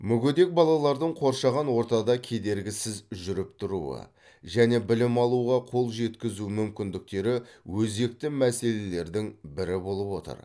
мүгедек балалардың қоршаған ортада кедергісіз жүріп тұруы және білім алуға қол жеткізу мүмкіндіктері өзекті мәселелердің бірі болып отыр